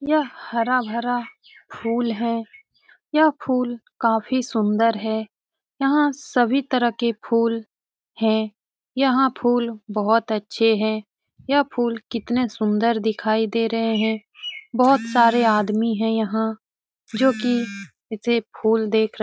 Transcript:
यह हरा भरा फूल है यह फूल काफी सुंदर है यहां सभी तरह के फूल है यहां फूल बहुत अच्छे हैं यह फूल कितने सुंदर दिखाई दे रहे है बहोत सारे आदमी है यहां जो की ऐसे फूल देख रहे हैं।